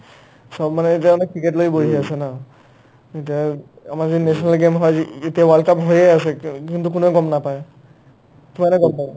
চব মানে এতিয়া মানে ticket লৈয়ে বহি আছে ন ইতা আমাৰ যে national game হয় যি ই এতিয়া world cup হৈয়ে আছে কা অ কিন্তু কোনেও গম নাপাই কিমানে গম পাই ?